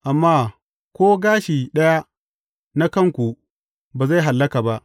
Amma ko gashi ɗaya na kanku, ba zai hallaka ba.